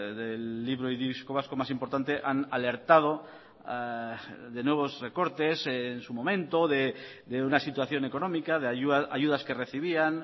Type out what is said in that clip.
del libro y disco vasco más importante han alertado de nuevos recortes en su momento de una situación económica de ayudas que recibían